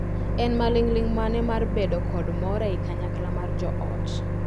En maling’ling’ mane mar bedo kod more i kanyakla mar joot?